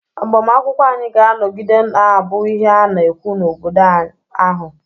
agbamakwụkwọ anyị ga-anọgide na-abụ ihe a na-ekwu n'obodo ahụ